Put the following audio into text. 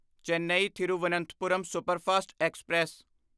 Chennai Thiruvananthapuram superfast express